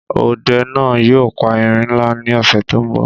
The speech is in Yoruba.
Ọde náà yóò pa erin náà ní ọ̀sẹ̀ tó ḿ bọ̀